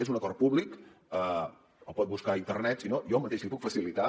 és un acord públic el pot buscar a internet si no jo mateix l’hi puc facilitar